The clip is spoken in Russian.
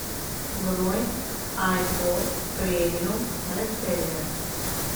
бронь айпорт премиум реселлер